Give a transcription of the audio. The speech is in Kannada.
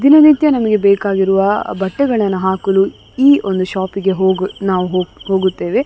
ದಿನನಿತ್ಯ ನಮಗೆ ಬೇಕಾಗಿರುವ ಬಟ್ಟೆಗಳನ್ನು ಹಾಕಲು ಈ ಒಂದು ಶಾಪಿಗೆ ಹೋಗ್ ನಾವು ಹೋಗ್ ಹೋಗುತ್ತೇವೆ.